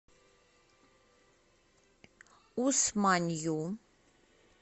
усманью